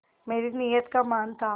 मेरी नीयत का मान था